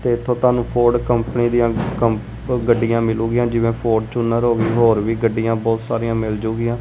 ਤੇ ਇਥੋਂ ਤੁਹਾਨੂੰ ਫੋਰਡ ਕੰਪਨੀ ਦੀਆਂ ਗੱਡੀਆਂ ਮਿਲਗੀਆਂ ਜਿਵੇਂ ਫੋਰਚੂਨਰ ਹੋ ਗਈ ਹੋਰ ਵੀ ਗੱਡੀਆਂ ਬਹੁਤ ਸਾਰੀਆਂ ਮਿਲ ਜਾਊਗੀਆਂ।